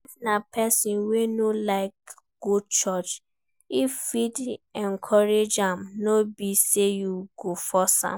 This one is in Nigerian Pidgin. If na person wey no dey like go church you fit encourage am no be sey you go force am